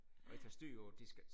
Og ikke har styr på det de skal